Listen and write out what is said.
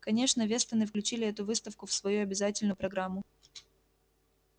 конечно вестоны включили эту выставку в свою обязательную программу